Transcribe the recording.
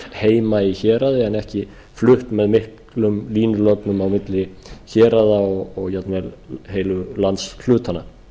heima í héraði en ekki flutt með miklum línulögnum á milli héraða og jafnvel heilu landshlutana